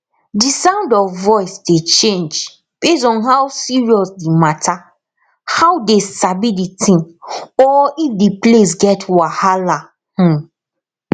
the sound of voice dey change base on how serious the matterhow dey sabi the thing or if the place get wahala um